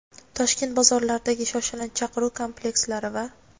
Toshkent bozorlaridagi shoshilinch chaqiruv komplekslari va .